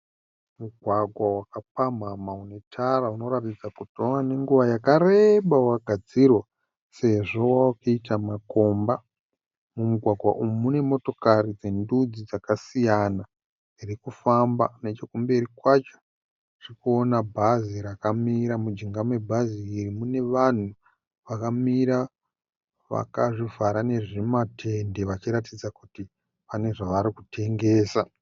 Mugwagwa wakakapamhamha unetara unoratidza kuti wava nenguva yakareba wagadzirwa sezvo wavakuita makomba. Mumugwagwa umu mune motokari dzendudzi dzakasiyana dziri kufamba. Nechokumberi kwacho tiri kuona bhazi rakamira. Mujinga mebhazi iri mune vanhu vakamira vakazvivhara nezvimatende vachiratidza kuti vane zvavari kutengesa.